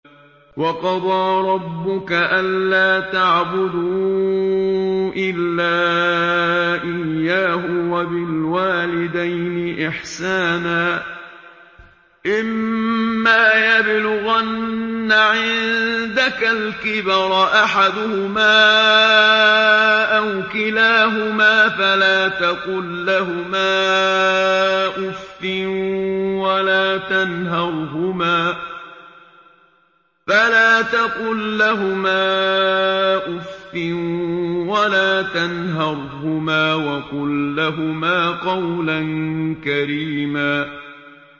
۞ وَقَضَىٰ رَبُّكَ أَلَّا تَعْبُدُوا إِلَّا إِيَّاهُ وَبِالْوَالِدَيْنِ إِحْسَانًا ۚ إِمَّا يَبْلُغَنَّ عِندَكَ الْكِبَرَ أَحَدُهُمَا أَوْ كِلَاهُمَا فَلَا تَقُل لَّهُمَا أُفٍّ وَلَا تَنْهَرْهُمَا وَقُل لَّهُمَا قَوْلًا كَرِيمًا